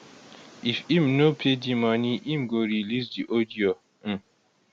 if im no pay di money im go release di audio um